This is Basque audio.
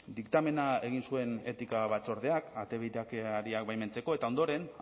diktamena egin zuen etika batzordeak ate birakariak baimentzeko eta ondoren